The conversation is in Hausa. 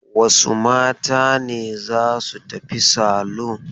Wasu mata ne za su tafi salon?